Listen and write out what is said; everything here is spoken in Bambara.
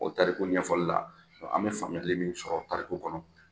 O tariku ɲɛfɔli la, an bɛ faamuyali min sɔrɔ o tariku kɔnɔ,